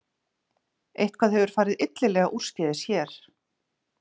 Eitthvað hefur farið illilega úrskeiðis hér